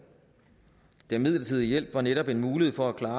den midlertidige hjælp var netop en mulighed for at klare